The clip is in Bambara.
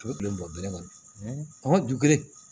U bɛ kile bɔ bilen kɔni